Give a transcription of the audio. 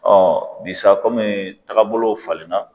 bi sa komi tagabolow falen na